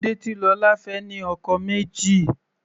Kílódé tí Lola fẹ́ ní ọkọ méjì.